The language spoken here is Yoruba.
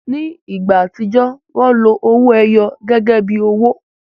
Ni igba atijọ, wọn lo owoẹyọ gẹgẹbi owo